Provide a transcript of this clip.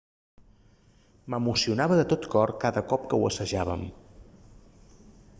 m'emocionava de tot cor cada cop que ho assajàvem